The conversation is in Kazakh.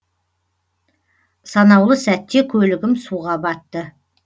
санаулы сәтте көлігім суға батты